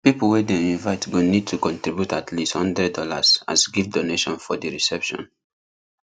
people wey dem invite go need to contribute at least hundred dollars as gift donation for di reception